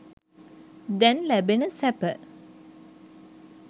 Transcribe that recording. දැන් ලැබෙන සැප.